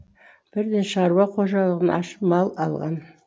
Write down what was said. бірден шаруа қожалығын ашып мал алған